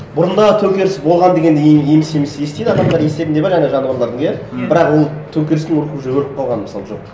бұрында төңкеріс болған деген еміс еміс естиді адамдар естерінде бар жаңа жануарлардың иә бірақ ол төңкерістің рухы уже өліп қалған мысалы жоқ